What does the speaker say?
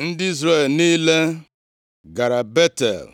Ndị Izrel niile gara Betel,